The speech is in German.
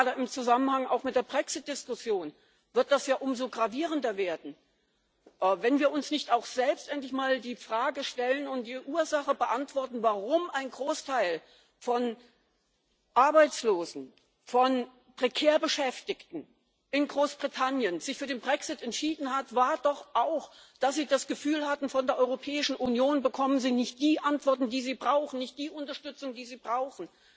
Und gerade auch im Zusammenhang mit der Brexit Diskussion wird das ja umso gravierender werden, wenn wir uns nicht auch selbst endlich mal die Frage stellen und die Ursache beantworten. Der Grund, warum ein Großteil von Arbeitslosen, von prekär Beschäftigten in Großbritannien, sich für den Brexit entschieden hat, war doch auch, dass sie das Gefühl hatten Von der Europäischen Union bekommen sie nicht die Antworten, die sie brauchen, nicht die Unterstützung, die sie brauchen.